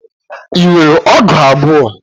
Ị nwere ọgụ abụọ?